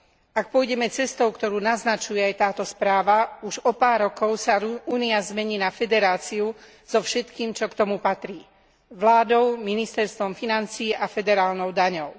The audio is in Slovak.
Ak pôjdeme cestou, ktorú naznačuje aj táto správa, už o pár rokov sa Únia zmení na federáciu so všetkým, čo k tomu patrí vládou, ministerstvom financií a federálnou daňou.